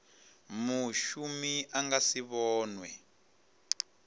mushumi a nga si vhonwe